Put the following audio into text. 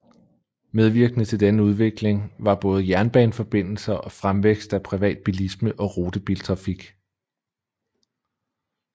Medvirkende til denne udvikling var både jernbaneforbindelser og fremvækst af privat bilisme og rutebiltrafik